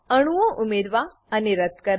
અણુઓ ઉમેરવા અને રદ્દ કરવા